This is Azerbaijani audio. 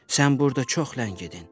Sən burda çox ləngidin.